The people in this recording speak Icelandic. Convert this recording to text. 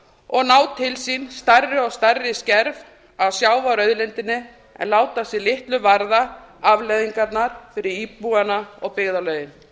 og ná til sín stærri og stærri skref af sjávarauðlindinni en láta sig litlu varða afleiðingarnar fyrir íbúa og byggðarlögin